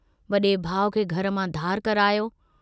वडे़ भाउ खे घर मां धार करायो।